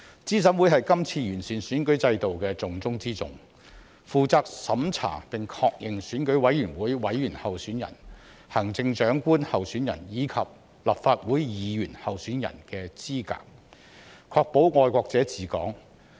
資審會是這次完善選舉制度的重中之重，負責審查並確認選舉委員會委員候選人、行政長官候選人及立法會議員候選人的資格，確保"愛國者治港"。